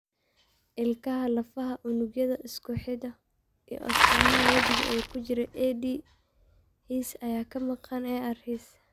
Ilkaha, lafaha, unugyada isku xidha, iyo astaamaha wejiga ee ku jira AD HIES ayaa ka maqan AR HIES.